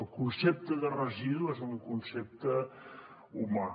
el concepte de residu és un concepte humà